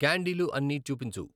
క్యాండీలు అన్నీ చూపించు